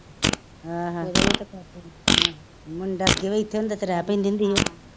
ਆਹੋ ਮੁੰਡਾ ਅੱਗੇ ਵੀ ਇੱਥੇ ਹੁੰਦਾ ਤੇ ਰਿਹ ਪੈਂਦੀ ਹੁੰਦੀ ਹੀ ਓਹ,